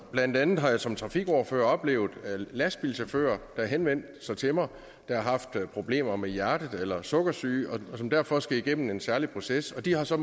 blandt andet har jeg som trafikordfører oplevet lastbilchauffører der henvendte sig til mig der har haft problemer med hjertet eller sukkersyge og som derfor skal igennem en særlig proces og de har så